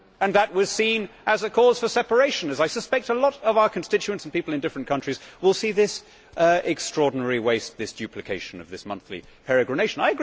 That was seen as a cause for separation, as I suspect a lot of our constituents and people in different countries will see this extraordinary waste, this duplication of this monthly peregrination.